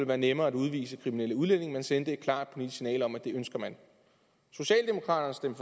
være nemmere at udvise kriminelle udlændinge man sendte et klart politisk signal om at det ønskede man socialdemokraterne